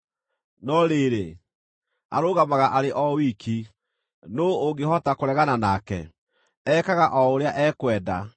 “No rĩrĩ, arũgamaga arĩ o wiki; nũũ ũngĩhota kũregana nake? Ekaga o ũrĩa ekwenda.